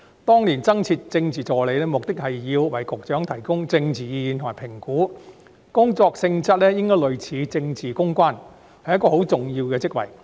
當年增設政治助理一職，目的是要為局長提供政治意見及評估，工作性質應該類似政治公關，是一個很重要的職位。